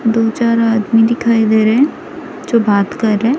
दो चार आदमी दिखाई दे रहे हैं जो बात कर रहे हैं।